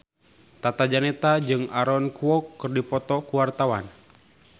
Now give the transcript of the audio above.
Tata Janeta jeung Aaron Kwok keur dipoto ku wartawan